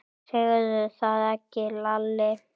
Segðu það ekki Lalli!